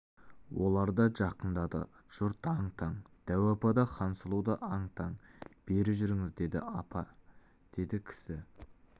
олар да жақындады жұрт аң-таң дәу апа да хансұлу да аң-таң бері жүріңіз апа деді кісі